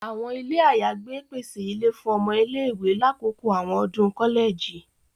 Àwọn ilé ayagbe pèsè ìlé fún ọmọ ilé-ìwé lakoko awọn ọdun kọlẹji.